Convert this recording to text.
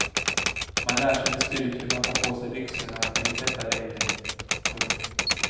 Man lär sig till slut hur man tar på sig byxorna eller tvättar babyn. punkt